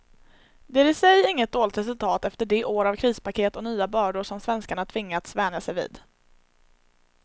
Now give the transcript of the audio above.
Det är i sig inget dåligt resultat efter de år av krispaket och nya bördor som svenskarna tvingats vänja sig vid.